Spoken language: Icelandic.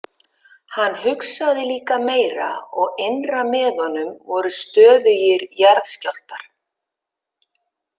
Hann hugsaði líka meira og innra með honum voru stöðugir jarðskjálftar.